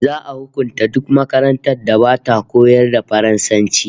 Za'a hukunta duk makarantar da bata koyar da Faransanci